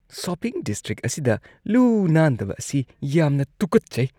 Shopping district ꯑꯁꯤꯗ ꯂꯨ-ꯅꯥꯟꯗꯕ ꯑꯁꯤ ꯌꯥꯝꯅ ꯇꯨꯀꯠꯆꯩ꯫